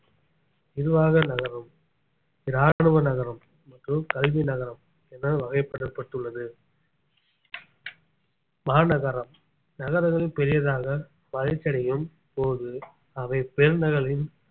நிர்வாக நகரம் இராணுவ நகரம் மற்றும் கல்வி நகரம் என வகைப்படுத்தப்பட்டுள்ளது மாநகரம் நகரங்கள் பெரியதாக வளர்ச்சி அடையும் போது அவை பெருநகரம்